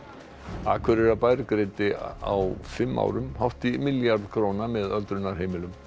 Akureyrarbær greiddi á fimm árum hátt í milljarð króna með öldrunarheimilum